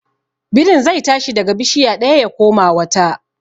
Birin zai tashi daga bishiya ɗaya ya koma wata.